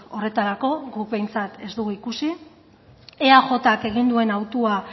horretarako guk behintzat ez dugu ikusi eajk egin duen hautua